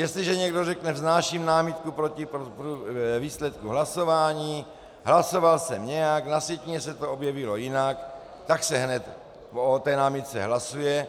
Jestliže někdo řekne vznáším námitku proti výsledku hlasování, hlasoval jsem nějak, na sjetině se to objevilo jinak, tak se hned o té námitce hlasuje